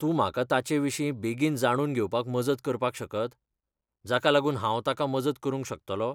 तूं म्हाका ताचेविशीं बेगीन जाणून घेवपाक मजत करपाक शकत, जाकालागून हांव ताका मजत करूंक शकतलों?